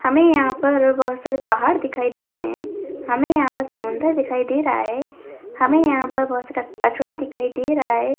हमे यहां पर बहोत सारे पहाड़ दिखाई दे रहे है हमें यहाँ पर समुन्दर दिखाई दे रहा है हमे यहाँ पर बहोत सारा कचड़ा दिखाई दे रहा है।